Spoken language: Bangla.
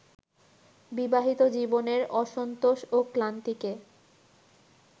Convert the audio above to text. বিবাহিত জীবনের অসন্তোষ ও ক্লান্তিকে